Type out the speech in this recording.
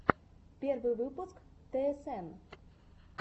первый выпуск тсн